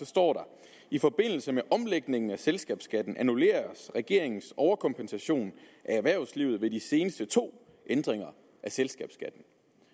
står i forbindelse med omlægningen af selskabsskatten annulleres regeringens overkompensation af erhvervslivet ved de seneste to ændringer af selskabsskatten